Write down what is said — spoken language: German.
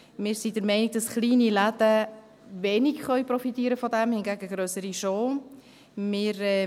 Wir sind der Meinung, dass kleine Läden wenig davon profitieren können, grössere hingegen schon.